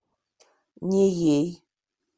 неей